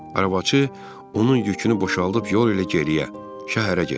Arabacı onun yükünü boşaldıb yol ilə geriyə, şəhərə getdi.